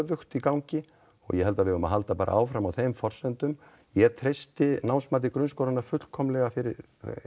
stöðugt í gangi og ég held bara að við eigum að halda áfram á þeim forsendum ég treysti námsmati grunnskólanna fullkomið fyrir